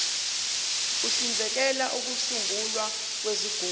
uhlinzekela ukusungulwa kwezigungu